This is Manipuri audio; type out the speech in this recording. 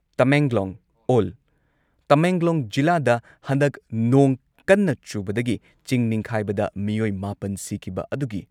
ꯇꯃꯦꯡꯂꯣꯡ ꯑꯣꯜ ꯇꯃꯦꯡꯂꯣꯡ ꯖꯤꯂꯥꯗ ꯍꯟꯗꯛ ꯅꯣꯡ ꯀꯟꯅ ꯆꯨꯕꯗꯒꯤ ꯆꯤꯡ ꯅꯤꯡꯈꯥꯏꯕꯗ ꯃꯤꯑꯣꯏ ꯃꯥꯄꯟ ꯁꯤꯈꯤꯕ ꯑꯗꯨꯒꯤ